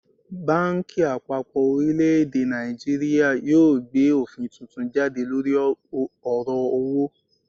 Banki apapo orileede Naijiria yoo gbe ofin tuntun jade lori oro owo